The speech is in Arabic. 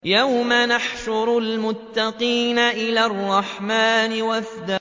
يَوْمَ نَحْشُرُ الْمُتَّقِينَ إِلَى الرَّحْمَٰنِ وَفْدًا